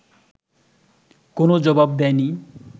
কোনও জবাব দেয় নি